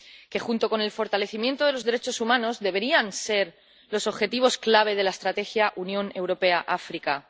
que, junto con el fortalecimiento de los derechos humanos, deberían ser los objetivos clave de la estrategia Unión Europea-África.